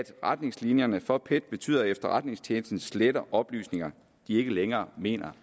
retningslinjerne for pet betyder at efterretningstjenesten sletter oplysninger de ikke længere mener